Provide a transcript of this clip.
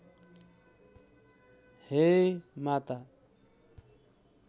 हे माता